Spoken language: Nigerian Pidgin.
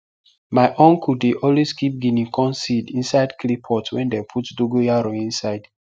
my uncle dey always keep guinea corn seed inside clay pot wey dem put dogoyaro inside